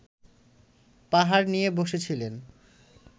পাহাড় নিয়ে বসেছিলেন